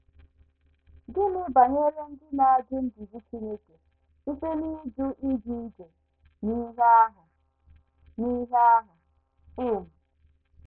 Gịnị banyere ndị na - ajụ nduzi Chineke site n’ịjụ ije ije n’ìhè ahụ? n’ìhè ahụ? in